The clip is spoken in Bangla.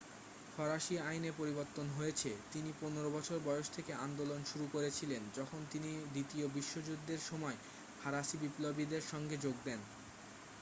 ফরাসি আইনে পরিবর্তন হয়েছে তিনি 15 বছর বয়স থেকে আন্দোলন শুরু করেছিলেন যখন তিনি দ্বিতীয় বিশ্বযুদ্ধের সময় ফরাসি বিপ্লবীদের সঙ্গে যোগ দেন